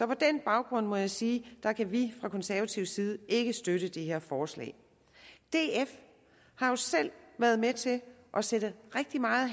på den baggrund må jeg sige at vi fra konservativ side ikke kan støtte det her forslag df har jo selv været med til at sætte rigtig meget